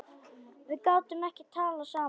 Við gátum ekki talað saman.